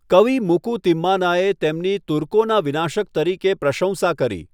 કવિ મુકુ તિમ્માનાએ તેમની તુર્કોના વિનાશક તરીકે પ્રશંસા કરી.